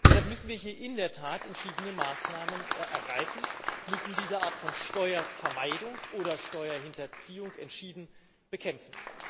Deshalb müssen wir hier in der Tat entschiedene Maßnahmen ergreifen, müssen diese Art von Steuervermeidung oder Steuerhinterziehung entschieden bekämpfen.